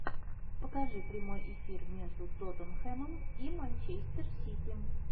покажи прямой эфир между тоттенхэмом и манчестер сити